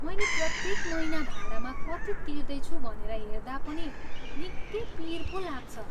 मैले प्रत्येक महिना भाडामा कति तिर्दैछु भनेर हेर्दा पनि निकै पिर पो लाग्छ।